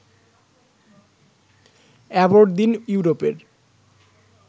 Aberdeen ইউরোপের